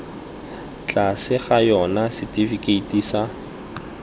tlase ga yona setifikeiti sa